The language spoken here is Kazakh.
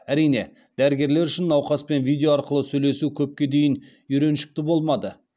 әрине дәрігерлер үшін науқаспен видео арқылы сөйлесу көпке дейін үйреншікті болмады